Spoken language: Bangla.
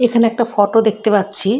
এখানে একটি ফটো দেখতে পাচ্ছি।